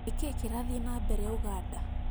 Nĩkĩ kĩrathiĩ na mbere ũganda